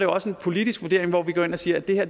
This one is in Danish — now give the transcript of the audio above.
også en politisk vurdering hvor vi går ind og siger at det her